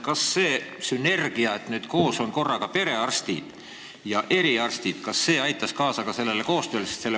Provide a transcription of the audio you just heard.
Kas see sünergia, kui koos on korraga perearstid ja eriarstid, aitaks kaasa ka sellele koostööle?